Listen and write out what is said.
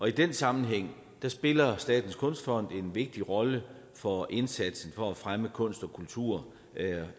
i den sammenhæng spiller statens kunstfond en vigtig rolle for indsatsen for at fremme kunst og kultur